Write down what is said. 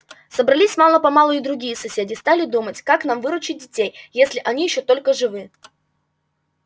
собрались мало-помалу и другие соседи стали думать как нам выручить детей если они ещё только живы